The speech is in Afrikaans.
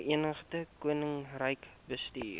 verenigde koninkryk bestuur